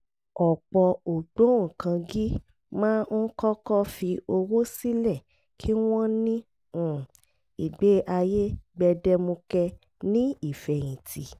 ọ̀pọ̀ ògbóǹkangí máa ń kọ́kọ́ fi owó sílẹ̀ kí wọ́n ní um ìgbé ayé gbẹdẹmukẹ ní ìfẹ̀yìntì